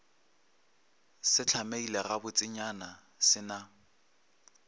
se hlamegile gabotsenyana se na